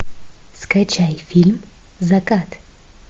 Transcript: скачай фильм закат